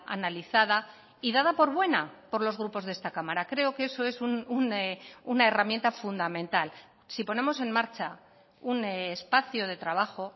analizada y dada por buena por los grupos de esta cámara creo que eso es una herramienta fundamental si ponemos en marcha un espacio de trabajo